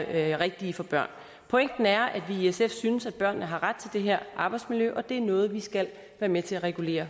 er rigtige for børn pointen er at vi i sf synes at børnene har ret til det her arbejdsmiljø og at det er noget vi skal være med til at regulere